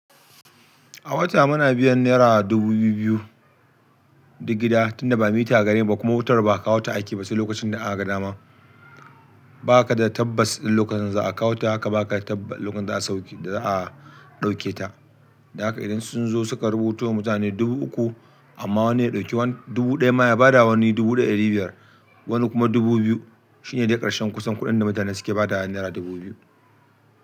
A wata muna biyan naira dubu biyu biyu duk gida tunda ba mita gari ba kuma wutar ba a kawo ta ake ba sai lokacin da akaga dama. Ba ka da tabbas ɗin lokacin da za a kawo huta haka ba ka da tabbas lokacin da za a sauke da za a ɗauke ta. Da haka idan sun zo suka rubuto wa mutane dubu uku amma wani ya ɗauki wani dubu ɗaya ma ya ba da wani dubu da ɗari biyar wani kuma dubu biyu shine dai ƙarshen kusan kuɗin da mutane suke ba da yan naira dubu biyu.